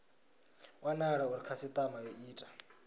wanala uri khasitama yo ita